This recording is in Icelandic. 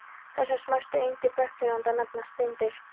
Þessar smæstu eindir bergtegundanna nefnast steindir.